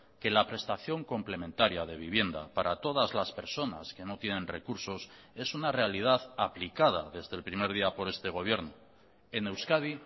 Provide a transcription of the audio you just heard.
que la prestación complementaria de vivienda para todas las personas que no tienen recursos es una realidad aplicada desde el primer día por este gobierno en euskadi